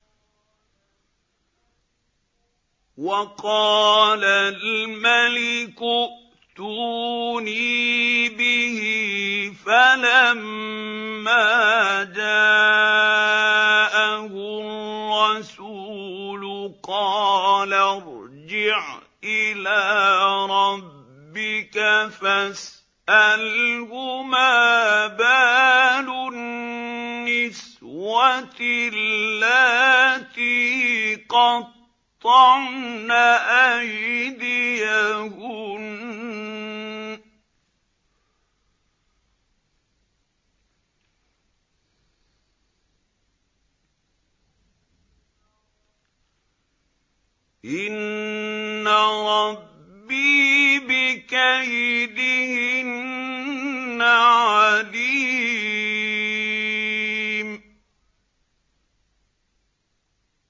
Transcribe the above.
وَقَالَ الْمَلِكُ ائْتُونِي بِهِ ۖ فَلَمَّا جَاءَهُ الرَّسُولُ قَالَ ارْجِعْ إِلَىٰ رَبِّكَ فَاسْأَلْهُ مَا بَالُ النِّسْوَةِ اللَّاتِي قَطَّعْنَ أَيْدِيَهُنَّ ۚ إِنَّ رَبِّي بِكَيْدِهِنَّ عَلِيمٌ